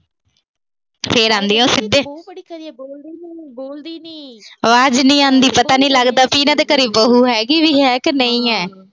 ਫਿਰ ਆਉਂਦੀਆਂ ਉਹ ਸਿੱਧੇ ਆਵਾਜ ਨੀ ਆਉਂਦੀ। ਪਤਾ ਨੀ ਲੱਗਦਾ ਕਿ ਇਹਨਾਂ ਦੇ ਘਰੇ ਬਹੂ ਹੈਗੀ ਵੀ ਹੈ ਕਿ ਨਹੀਂ ਆ।